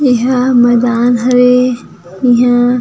इहा मैदान हवे इहा --